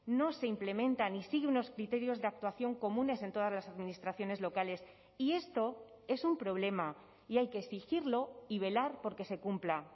no se implementa ni sigue unos criterios de actuación comunes en todas las administraciones locales y esto es un problema y hay que exigirlo y velar por que se cumpla